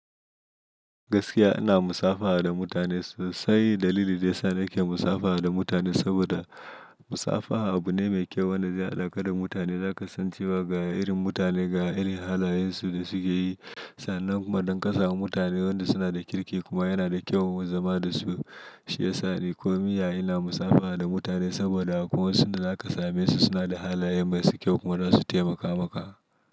Gaskiya ina musafaha da mutane sosai. Dalili da yasa nake musafaha da mutane saboda musafaha abu ne mai kyau wanda zai haɗa ka da mutane. Za ka san cewa ga irin mutane, ga irin halayensu da suke yi. Sannan kuma don ka samu mutanen wanda suna da kirki kuma yana da kyau zama da su. Shi ya sa ni kominya ina musafaha da mutane saboda akwai wasun da za ka same su suna da halaye masu kyau kuma za su taimaka maka.